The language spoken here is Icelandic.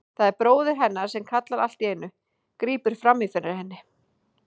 Það er bróðir hennar sem kallar allt í einu, grípur fram í fyrir henni.